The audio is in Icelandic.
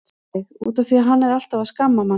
Davíð: Út af því að hann er alltaf að skamma mann.